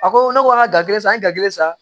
A ko ne ko an ka gafe san kelen san